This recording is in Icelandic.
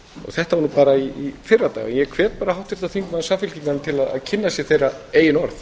þetta var bara í fyrradag en ég hvet bara háttvirta þingmenn samfylkingarinnar til að kynna sér þeirra eigin orð